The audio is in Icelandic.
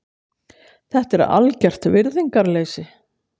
Þetta er algert virðingarleysi.